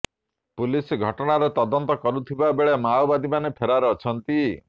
police ଘଟଣାର ତଦନ୍ତ କରୁଥିବା ବେଳେ ମାଓବାଦୀମାନେ ଫେରାର ଅଛନ୍ତି